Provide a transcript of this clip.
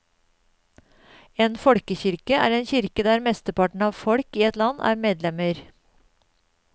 En folkekirke er en kirke der mesteparten av folket i et land er medlemmer.